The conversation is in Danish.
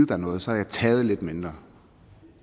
dig noget så har jeg taget lidt mindre